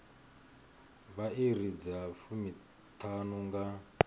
vha iri dza fumiṱhanu nga